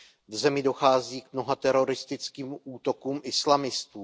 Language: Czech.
V zemi dochází k mnoha teroristickým útokům islamistů.